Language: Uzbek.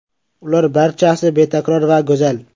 Ular barchasi betakror va go‘zal.